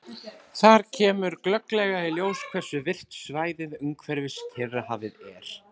Þar kemur glögglega í ljós hversu virkt svæðið umhverfis Kyrrahafið er.